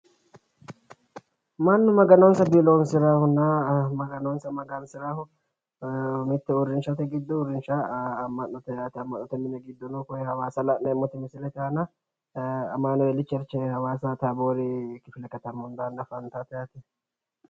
Mannu maganonsa biiloonsirannohunna maganonsa magansirannohu mitte uurrinshate giddo uurrinsha yaa amma'note yaate amma'noti mini giddono awaasa la'neemmoti misilete aana amanueeli cherche awaasa taaboori kifilekatami hundaanni afantaate yaate.